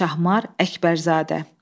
Şahmar Əkbərzadə.